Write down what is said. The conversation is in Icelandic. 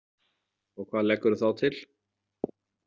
Og hvað leggurðu þá til?